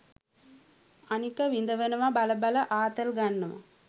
අනික විඳවනව බල බල ආතල් ගන්නව.